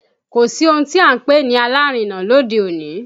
Kò sí ohun tí à ń pè ní alárinà lóde òní